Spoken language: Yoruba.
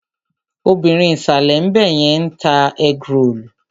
Obìrin ìsàlè ńbẹ̀yẹn ń ta ẹ́grolù.